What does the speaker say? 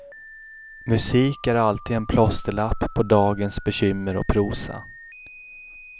Musik är alltid en plåsterlapp på dagens bekymmer och prosa.